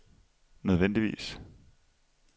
nødvendigvis